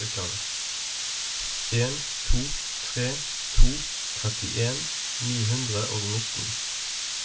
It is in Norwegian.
en to tre to trettien ni hundre og nittien